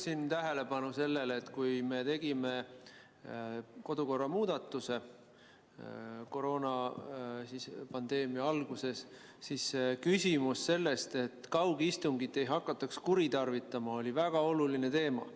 Ma juhin tähelepanu sellele, et kui me tegime kodukorras koroonapandeemia alguses muudatuse, siis küsimus sellest, et kaugistungit ei hakatakse kuritarvitama, oli väga oluline teema.